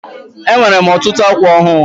Enwere m ọtụtụ ákwà ọhụụ.